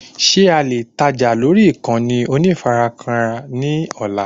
Ṣé alè tajà lórí ìkànnì onífarakínra ní ọ̀la